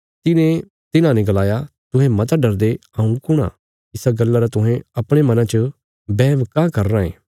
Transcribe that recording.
तिने तिन्हांने गलाया तुहें मता डरदे हऊँ कुण आ इसा गल्ला रा तुहें अपणे मनां च बैहम काँह करी रायें